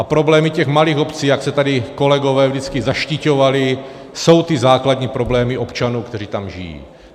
A problémy těch malých obcí, jak se tady kolegové vždycky zaštiťovali, jsou ty základní problémy občanů, kteří tam žijí.